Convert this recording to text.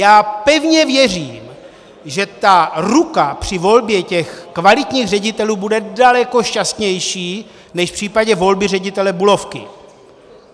Já pevně věřím, že ta ruka při volbě těch kvalitních ředitelů bude daleko šťastnější než v případě volby ředitele Bulovky.